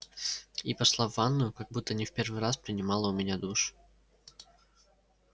и пошла в ванную как будто не в первый раз принимала у меня душ